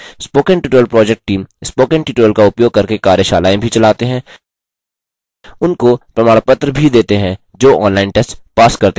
spoken tutorial project team spoken tutorial का उपयोग करके कार्यशालाएँ भी चलाते हैं उनको प्रमाणपत्र भी देते हैं जो online test pass करते हैं